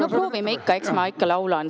No proovime, eks ma ikka laulan.